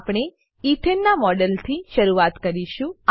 આપણે એથને નાં મોડેલથી શરૂઆત કરીશું